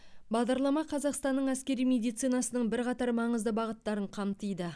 бағдарлама қазақстанның әскери медицинасының бірқатар маңызды бағыттарын қамтиды